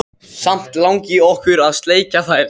Samt langi okkur að sleikja þær.